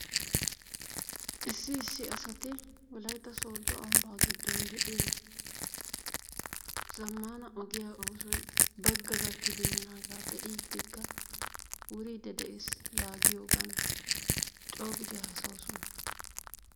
issi issi asati wolaytta sooddo ambba giddon de'iyaa zammaana ogiyaa oosoy baggaa gakkibeenaaga be'idikka wuride de'ees yaagiyoogan coo giidi hassayoosona.